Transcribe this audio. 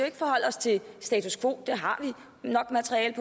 ikke forholde os til status quo det har vi nok materiale